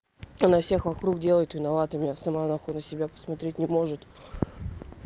она всех вокруг делать виноватыми а сама нахуй на себя посмотреть не может